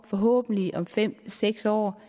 forhåbentlig om fem seks år